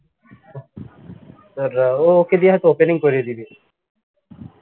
ও ওকে দিয়ে হয়ত opening করিয়ে দিবে